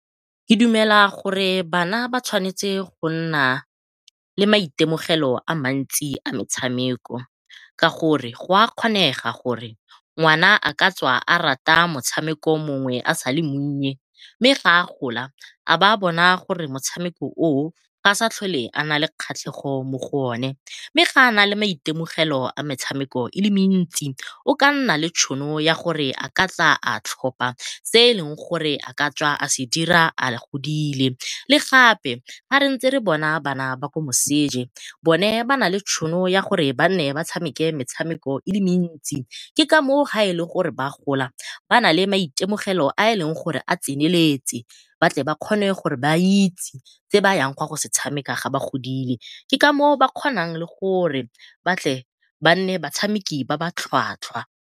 Ke dumela gore bana ba tshwanetse go nna le maitemogelo a mantsi a metshameko ka gore go a kgonega gore ngwana a ka tswa a rata motshameko mongwe a sa le monnye mme ga a gola a be a bona gore motshameko oo ga a sa tlhole a nale kgatlhego mo go one. Mme ga a nale maitemogelo a metshameko e le mentsi o ka nna le tšhono ya gore a ka tla a tlhopha se e leng gore a ka tswa a se dira a godile. Le gape ga re ntse re bona bana ba ko moseje bone ba nale tšhono ya gore ba nne ba tshameke metshameko e le mentsi ke kamoo, ga e le gore ba gola ba nale maitemogelo a e leng gore a tseneletse batle ba kgone gore ba itse se bayang go se tshameka ga ba godile ke kamoo ba kgonang le gore ba nne batshameki ba ba tlhwatlhwa.